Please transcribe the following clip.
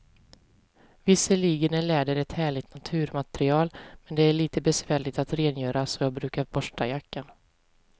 Visserligen är läder ett härligt naturmaterial, men det är lite besvärligt att rengöra, så jag brukar borsta jackan.